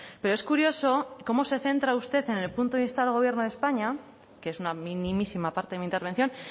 pero es curioso cómo se centra usted en el punto de instar al gobierno de españa que es una minimísima parte de mi intervención